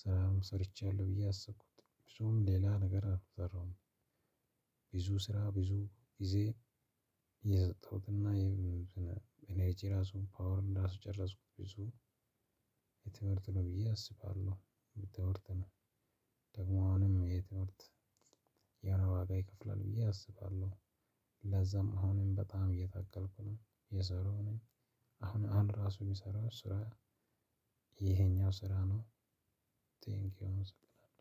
ስራም ሰርቻለሁ ብዬ አሰብኩት ብዙም ሌላ ነገር አልሰራሁም። ብዙ ስራ ብዙ ጊዜ የሰጠሁት ኢነርጂ ራሱን ፓወር እንዳስጨረስኩት ብዙ። በትምህርት ነው ብዬ አስባለሁ። በትምህርት ነው። ደግሞ አሁንም የትምህርት የሆነ ዋጋ ይከፍላል ብዬ አስባለሁ። ለዛም አሁንም በጣም እየታገልኩ ነው እየሰራው ነው። አሁን ራሱ እሚሰራው ስራ። ይሄኛው ስራ ነው። ቴንኪው አመሰግናለሁ